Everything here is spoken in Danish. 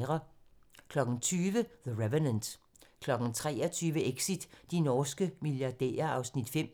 20:00: The Revenant 23:00: Exit - de norske milliardærer (Afs. 5)